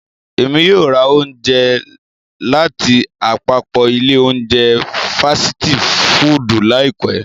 Emi yóò ra ounje latiapapọ ile ounje fasiti fudu laipẹ.